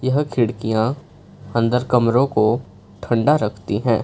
यह खिड़कियां अंदर कमरों को ठंडा रखती है।